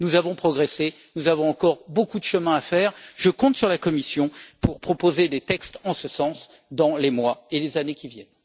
Nous avons progressé, mais nous avons encore beaucoup de chemin à faire et je compte sur la Commission pour qu'elle propose des textes en ce sens dans les mois et les années à venir.